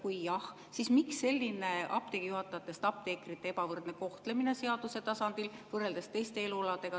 Kui jah, siis miks on selline apteegi juhatajatest apteekrite ebavõrdne kohtlemine seaduse tasandil võrreldes teiste elualadega?